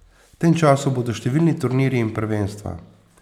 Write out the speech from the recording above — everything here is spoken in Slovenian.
V tem času bodo številni turnirji in prvenstva.